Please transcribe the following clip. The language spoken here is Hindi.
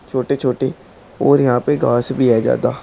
छोटे छोटे और यहां पे घास भी है ज्यादा--